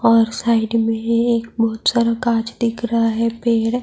اور سائیڈ مے ایک بھوت سارا کانچ دیکھ رہا ہے۔ پیڈ--